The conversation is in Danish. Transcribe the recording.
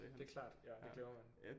Det er klart ja det glemmer man